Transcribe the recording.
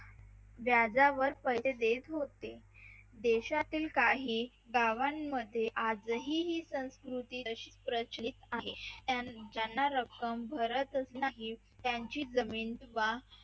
व्याजावर पैसे देत होते देशातील काही गावांमध्ये आजही ही संस्कृती तशीच प्रचलित आहे ज्यांना रक्कम भरतच नाही त्यांची जमीन